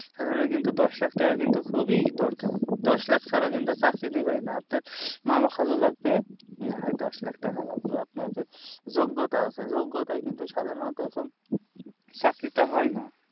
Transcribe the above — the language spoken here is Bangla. সাধারণত কিন্তু দশ লাখ টাকা কিন্তু খুবই দরকার দশ লাখ ছাড়া কিন্তু চাকরি দেবে না আপনার মামা খালু লাগবে না হয় দশ লাখ টাকা লাগবে আপনার যে যোগ্যতা আছে যোগটাই কিন্তু সাধারণত এখন চাকরিটা হয় না